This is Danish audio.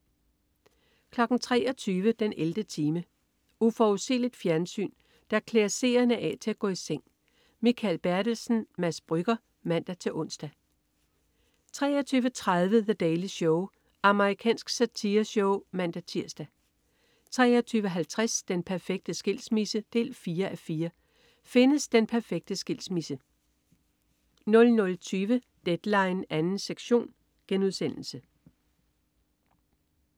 23.00 den 11. time. Uforudsigeligt fjernsyn, der klæder seerne af til at gå i seng. Mikael Bertelsen/Mads Brügger (man-ons) 23.30 The Daily Show. Amerikansk satireshow (man-tirs) 23.50 Den perfekte skilsmisse 4:4. Findes den perfekte skilsmisse? 00.20 Deadline 2. sektion*